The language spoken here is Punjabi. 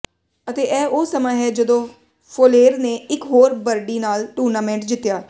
ਅਤੇ ਇਹ ਉਹ ਸਮਾਂ ਹੈ ਜਦੋਂ ਫੋਲੇਰ ਨੇ ਇਕ ਹੋਰ ਬਰਡੀ ਨਾਲ ਟੂਰਨਾਮੈਂਟ ਜਿੱਤਿਆ